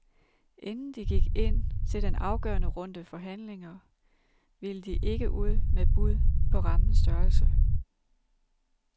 Inden de gik ind til den afgørende runde forhandlinger, ville de ikke ud med bud på rammens størrelse.